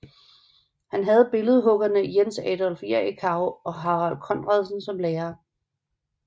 Han havde billedhuggerne Jens Adolf Jerichau og Harald Conradsen som lærere